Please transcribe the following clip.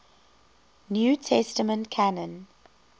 new testament canon